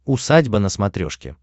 усадьба на смотрешке